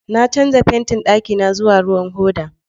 Na canza fantin ɗakina zuwa ruwan hoda